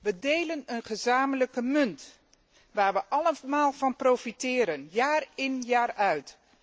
We delen een gezamenlijke munt, waar we allemaal van profiteren, jaar in jaar uit.